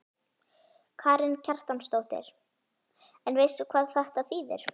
Karen Kjartansdóttir: En veistu hvað þetta þýðir?